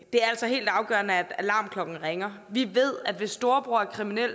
er altså helt afgørende at alarmklokkerne ringer vi ved at hvis storebror er kriminel